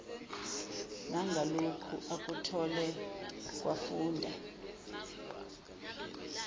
nangaloku akuthole kwafunda